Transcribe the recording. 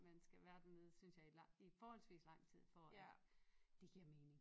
Man skal være dernede synes jeg i lang i forholdsvist lang tid for at det giver mening